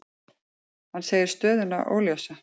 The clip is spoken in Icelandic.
Hann segir stöðuna óljósa.